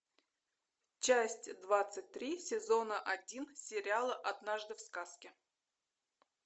часть двадцать три сезона один сериала однажды в сказке